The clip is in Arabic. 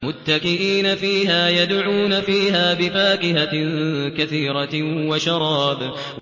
مُتَّكِئِينَ فِيهَا يَدْعُونَ فِيهَا بِفَاكِهَةٍ كَثِيرَةٍ وَشَرَابٍ